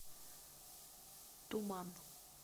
туман